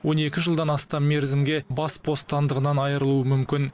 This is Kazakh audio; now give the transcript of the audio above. он екі жылдан астам мерзімге бас бостандығынан айырылуы мүмкін